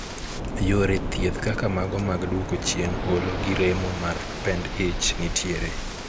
Yore thieth kaka mago mag duoko chien olo gi remo mar pend ich nitiere.